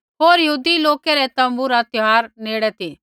होर यहूदी लोकै रै तोम्बू रा त्यौहार नेड़े ती